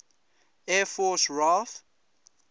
air force raaf